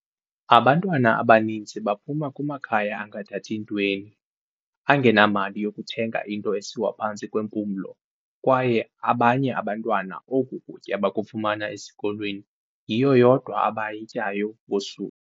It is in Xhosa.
"Abantwana abaninzi baphuma kumakhaya angathathi ntweni, angenamali yokuthenga into esiwa phantsi kwempumlo, kwaye abanye abantwana oku kutya bakufumana esikolweni, yiyo yodwa abayityayo ngosuku."